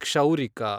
ಕ್ಷೌರಿಕ